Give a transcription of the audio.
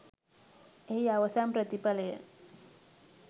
එහි අවසන් ප්‍රතිඵලය